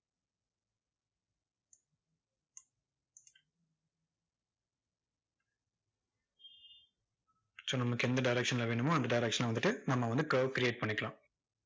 so நமக்கு எந்த direction ல வேணுமோ, அந்த direction ல வந்துட்டு நம்ம வந்து curve create பண்ணிக்கலாம்.